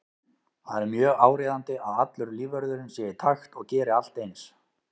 Það er mjög áríðandi að allur lífvörðurinn sé í takt og geri allt eins.